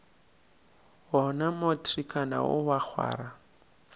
wona matrikana wo wa kgwara